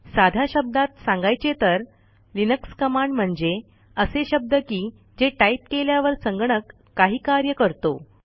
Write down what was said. साध्या शब्दात सांगायचे तर लिनक्स कमांड म्हणजे असे शब्द की जे टाईप केल्यावर संगणक काही कार्य करतो